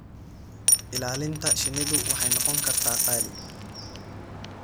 Ilaalinta shinnidu waxay noqon kartaa qaali.